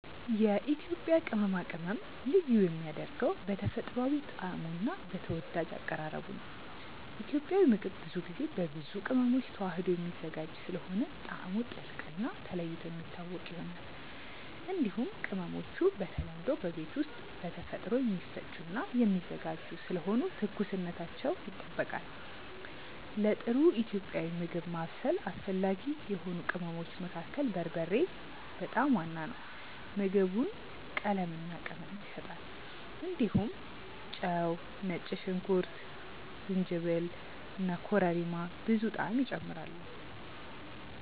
የኢትዮጵያ ቅመማ ቅመም ልዩ የሚያደርገው በተፈጥሯዊ ጣዕሙ እና በተወዳጅ አቀራረቡ ነው። ኢትዮጵያዊ ምግብ ብዙ ጊዜ በብዙ ቅመሞች ተዋህዶ የሚዘጋጅ ስለሆነ ጣዕሙ ጥልቅ እና ተለይቶ የሚታወቅ ይሆናል። እንዲሁም ቅመሞቹ በተለምዶ በቤት ውስጥ በተፈጥሮ የሚፈጩ እና የሚዘጋጁ ስለሆኑ ትኩስነታቸው ይጠበቃል። ለጥሩ ኢትዮጵያዊ ምግብ ማብሰል አስፈላጊ የሆኑ ቅመሞች መካከል በርበሬ በጣም ዋና ነው። ምግቡን ቀለምና ቅመም ይሰጣል። እንዲሁም ጨው፣ ነጭ ሽንኩርት፣ ጅንጅብል እና ኮረሪማ ብዙ ጣዕም ይጨምራሉ።